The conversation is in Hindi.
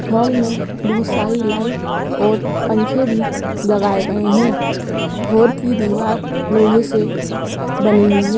हॉल में बहुत सारी लाइट और पंखे भी लगाये गए है हॉल की दिवार लोहे से बनी हुई है।